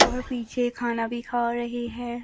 और पीछे खाना भी खा रहे है।